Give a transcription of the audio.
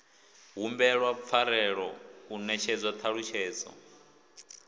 humbelwa pfarelo u netshedzwa ṱhalutshedzo